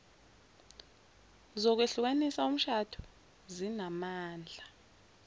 zokwehlukanisa umshado zinamandla